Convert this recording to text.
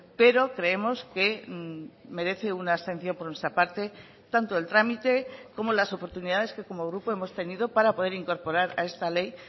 pero creemos que merece una abstención por nuestra parte tanto el trámite como las oportunidades que como grupo hemos tenido para poder incorporar a esta ley